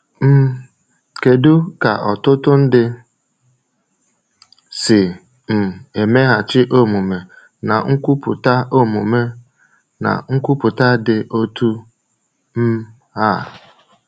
um Kedu ka ọtụtụ ndị si um emeghachi omume na nkwupụta omume na nkwupụta dị otu um a?